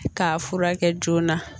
K'a furakɛ joona